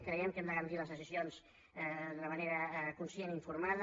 creiem que hem de garantir les decisions d’una manera conscient i informada